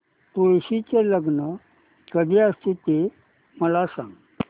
तुळशी चे लग्न कधी असते ते मला सांग